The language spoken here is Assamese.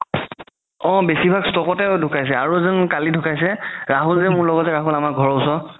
অ বেচি ভাগ stroke তে ধুকাইছে আৰু এজন কালি ধুকাইছে ৰাহুল যে মোৰ লগৰ যে আমাৰ ঘৰৰ ওচৰত